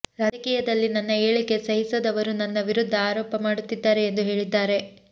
ರಾಜಕೀಯದಲ್ಲಿ ನನ್ನ ಏಳಿಗೆ ಸಹಿಸದವರು ನನ್ನ ವಿರುದ್ಧ ಆರೋಪ ಮಾಡುತ್ತಿದ್ದಾರೆ ಎಂದು ಹೇಳಿದ್ದಾರೆ